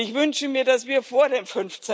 Und ich wünsche mir, dass wir vor dem